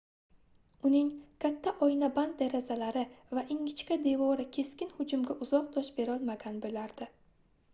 uning katta oynaband derazalari va ingichka devori keskin hujumga uzoq dosh berolmagan boʻlardi